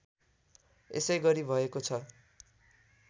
यसैगरी भएको छ